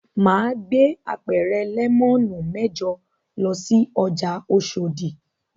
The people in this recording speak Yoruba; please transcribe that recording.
Mà á gbé apẹ̀rẹ̀ lẹ́mọ́nù mẹ́jọ lọ sí ọjà Oṣòdì.